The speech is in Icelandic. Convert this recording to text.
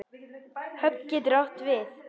Höfn getur átt við